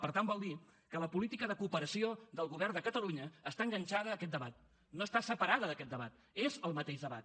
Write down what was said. per tant vol dir que la política de cooperació del govern de catalunya està enganxada a aquest debat no està separada d’aquest debat és el mateix debat